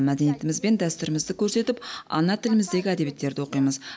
мәдениетіміз бен дәстүрімізді көрсетіп ана тіліміздегі әдебиеттерді оқимыз